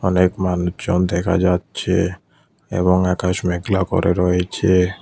অনেক মানুষজন দেখা যাচ্ছে এবং আকাশ মেঘলা করে রয়েছে।